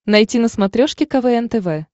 найти на смотрешке квн тв